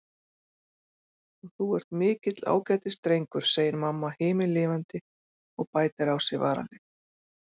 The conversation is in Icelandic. Og þú ert mikill ágætisdrengur, segir mamma himinlifandi og bætir á sig varalit.